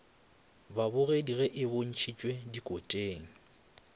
babogedi ge e bontšhitšwe dikoteng